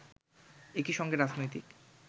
একই সঙ্গে রাজনৈতিক